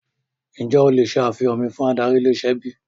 Ǹjẹ́ o le ṣe àfihàn mi fún adarí ilé-iṣẹ́ bíi?